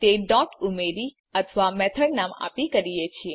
આપણે તે ડોટ ઉમેરી મેથડ નામ આપી કરીએ છે